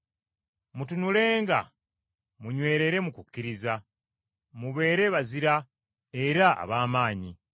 Mutunulenga, munywerere mu kukkiriza, mubeere bazira era ab’amaanyi.